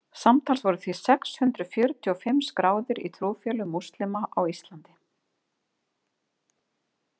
Samtals voru því sex hundruð fjörutíu og fimm skráðir í trúfélög múslima á Íslandi.